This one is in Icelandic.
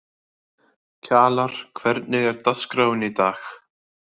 Kjalar, hvernig er dagskráin í dag?